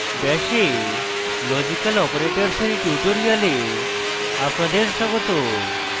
bash এ logical operators dear tutorial আপনাদের স্বাগত